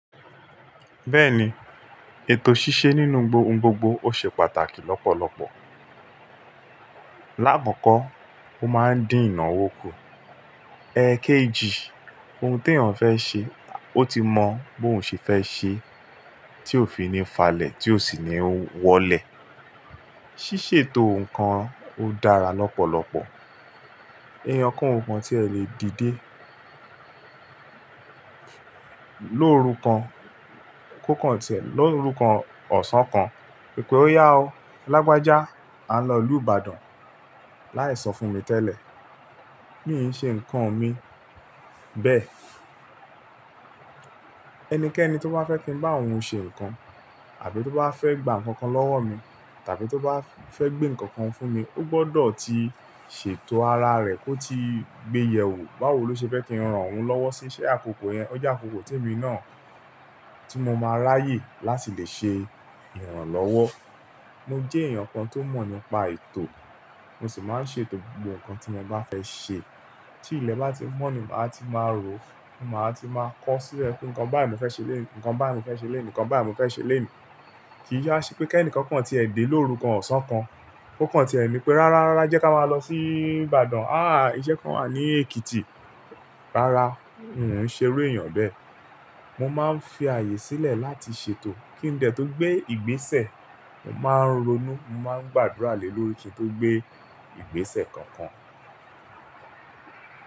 Bẹ́ẹ̀ni, ètò ṣíṣe nínú ohun gbogbo ó ṣe pàtàkì lọ́pọ̀lọpọ̀. Láàkọ̀kọ́, ó máa ń dín ìnáwó kù. Ẹkéjì, ohun tí èèyàn fẹ́ ṣe, ó ti mọ bí òun ṣe fẹ́ ṣe tí ó fi ní falẹ̀ tí ó sì ní wọlẹ̀. Ṣíṣètò nǹkan ó dára lọ́pọ̀lọpọ̀. Èèyàn kan ò kan tí ẹ lè dìde lóru kan, kó kan tẹ̀ lóru kan ọ̀sán kan. Pé ó yá o, Lágbájá a lọ ìlú Ìbàdàn láì sọ fún mi tẹ́lẹ̀. Mi ò ṣe nǹkan mi bẹ́ẹ̀. Ẹnikẹ́ni tó bá fẹ́ ki n bá òun ṣe nǹkan àbí tó bá fẹ́ gba nǹkan kan lọ́wọ́ mi tàbí tó bá fẹ́ gbé nǹkan kan fún mi, ó gbọdọ̀ ti ṣètò ara rẹ̀ kó ti gbéyẹwò báwo ló ṣe fẹ́ kí n ran òun lọ́wọ́ sí ṣe àkókò yẹn, o jẹ àkókò tí èmi náà tí mo máa ráyè láti lè ṣe ìrànlọ́wọ́. Mo jẹ́ èèyàn kan tó mọ̀ nípa ètò, mo sì máa ń ṣètò gbogbo nǹkan tí mo bá fẹ́ ṣe. Tí ilẹ̀ bá ti mọ́ ni ma ti máa rò, máa ti máa kọ sílẹ̀ pé nǹkan báà mo fẹ́ ṣe lenìí, nǹkan báà mo fẹ́ ṣe lenìí, nǹkan báà mo fẹ́ ṣe lenìí. Kì í yà ṣe pé kí ẹnìkan kan ti ẹ dè lóru kan ọ̀sán kan, kó kan tìẹ ni pé rárá, rárá jẹ́ ká máa lọ sí Ìbàdàn. Àáà, iṣẹ́ kan wà ní Èkìtì. Rárá, n ò ún ṣe irú èèyàn bẹ́ẹ̀. Mo máa ń fi ààyè sílẹ̀ láti ṣètò kí n dẹ̀ tó gbé ìgbésẹ̀. Mo máa ń ronú, mo máa ń gbàdúrà lé lórí kí n tó gbé ìgbésẹ̀ kankan.